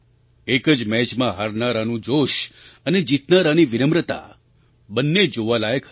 એક જ મેચમાં હારનારાનું જોશ અને જીતનારાની વિનમ્રતા બંને જોવાલાયક હતી